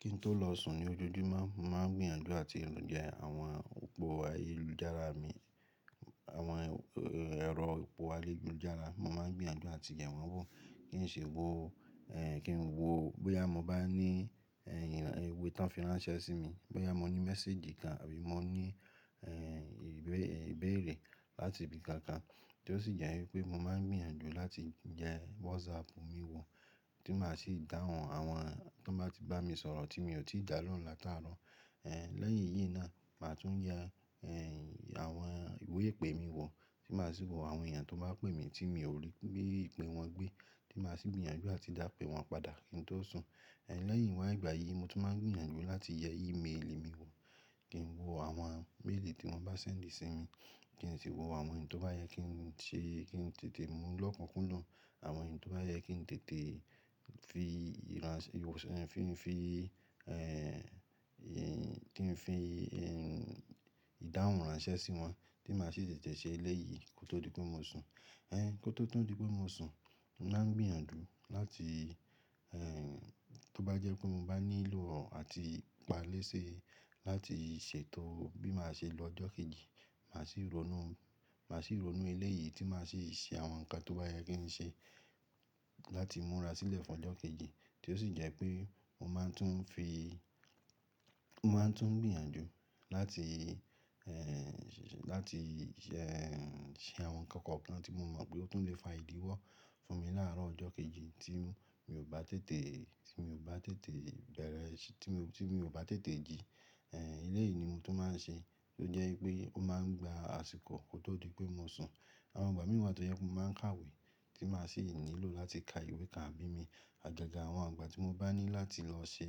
Kí n tó lọ sùn ní ojoojúmọ́, mo máa ń gbìyànjú àti yẹ àwọn òpó ayélujára mi, àwọn ẹ̀rọ òpó ayélujára. Mo máa ń gbìyànjú àti yẹ wọ́n wò kí n ṣe wò, kí n wò bóyá mo bá ní ìwé tó ń fi ránṣẹ́ sí mi, bóyá mo ní message kan àbí mo ní ìbéèrè láti ibi kankan, tí ó sì jẹ́ wípé mo máa ń gbìyànjú láti yẹ WhatsApp mi wò, tí màá sì dáhùn àwọn tó n bá ti bá mi sọ̀rọ̀ tí mi ò tíì dá lóhun láti àárọ̀. Lẹ́yìn eyí náà, màá tún ye àwọn ìwé ìpè mi wò, tí màá sì wò àwọn èèyàn tó bá pè mí tí mi ò rí i ìpè wọn gbé, tí màá sì gbìyànjú áti dápè wọ́n padà kí n tó sùn. Lẹ́yìn wá ìgbà yìí, mo tún máa ń gbìyànjú láti yẹ ímeèlì mi wò, kí n wò àwọn méèlì tí wọ́n bá send sí mi, kí n sì wò àwọn èyí tó bá yẹ kí n tété mú lókúnkúndùn, àwọn èyí tó bá yẹ kí n tété fi ìdáhùn ránṣẹ́ sí wọn tí màá sì tètè ṣe elèyí kó tó di pé mo sùn. Kó tó di pé mo sùn, mo màá ń gbìyànjú láti, tó bá jẹ́ pé mo bá nílò àti ipá léṣe láti se ètò bí màá ṣe lọ ọjọ́ kejì, màá sì ronú èyi tí màá sì ṣe àwọn nǹkan tó bá yẹ kí n ṣe láti múra sílẹ̀ fún ọjọ́ kejì, tí ó sì jẹ́ pé mo máa ń tún gbìyànjú láti ṣe àwọn ǹkan kankan tí mo mọ̀ pé ó tún lè fa ìdíwọ́ fún mi láàárọ̀ ọjọ́ kejì tí mi ò bá tètè jí. Èyí ni mo tún máa ń ṣe, tí ó jẹ́ wípé ó máa ń gba àsìkò kó tó di pé mo sùn. Àwọn ìgbà mí wà tó jé wípé mo máa ń kàwé tí màá sì nílò láti ka ìwé kan àbí mìíràn, agaga àwọn ìgbà tí mo bá ní láti lọ ṣe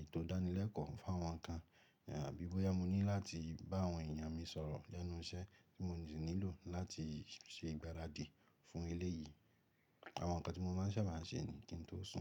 ètò ìdánilèkóó fún àwọn kan àbí bóyá mo ní láti bá àwọn èyàn mi sọ̀rọ̀ lẹ́nu iṣẹ́ tí mo sì nílò láti ṣe ìgbáradì fún elé yìí. Àwọn nǹkan tí mo máa ń sábà ṣe ni kí n tó sùn.